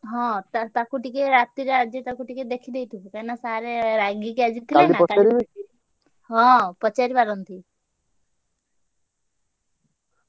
ହଁ ~ତା ତାକୁ ଟିକେ ରାତିରେ ଆଜି ତାକୁ ଟିକେ ଦେଖିଦେଇଥିବୁ କାହିଁକିନା sir ଆଜି ରାଗିକି ଥିଲେ ନା ହଁ ପଚାରି ପାରନ୍ତି।